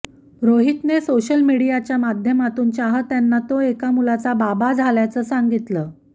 रोहितने सोशल मीडियाच्या माध्यमातून चाहत्यांना तो एका मुलाचा बाबा झाल्याचं सांगितलं